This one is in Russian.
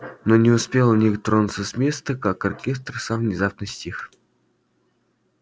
но не успел ник тронуться с места как оркестр сам внезапно стих